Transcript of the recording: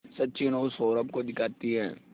सचिन और सौरभ को दिखाती है